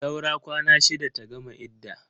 Saura kwana shida ta gama idda.